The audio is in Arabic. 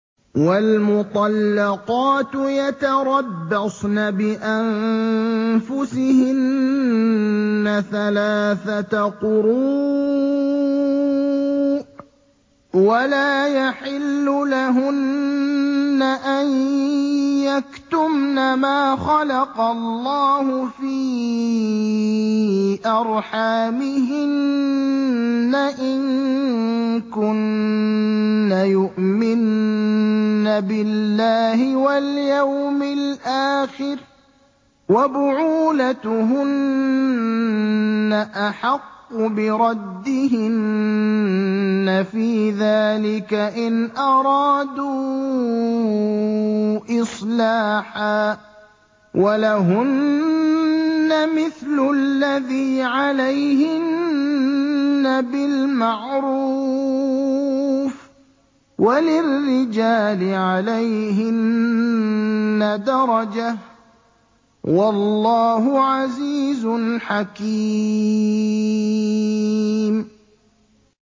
وَالْمُطَلَّقَاتُ يَتَرَبَّصْنَ بِأَنفُسِهِنَّ ثَلَاثَةَ قُرُوءٍ ۚ وَلَا يَحِلُّ لَهُنَّ أَن يَكْتُمْنَ مَا خَلَقَ اللَّهُ فِي أَرْحَامِهِنَّ إِن كُنَّ يُؤْمِنَّ بِاللَّهِ وَالْيَوْمِ الْآخِرِ ۚ وَبُعُولَتُهُنَّ أَحَقُّ بِرَدِّهِنَّ فِي ذَٰلِكَ إِنْ أَرَادُوا إِصْلَاحًا ۚ وَلَهُنَّ مِثْلُ الَّذِي عَلَيْهِنَّ بِالْمَعْرُوفِ ۚ وَلِلرِّجَالِ عَلَيْهِنَّ دَرَجَةٌ ۗ وَاللَّهُ عَزِيزٌ حَكِيمٌ